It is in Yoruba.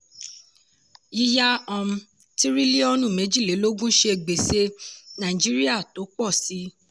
yíyá um tírílíọ̀nù méjìlélógún ṣe gbèsè nàìjíríà tó pọ síi.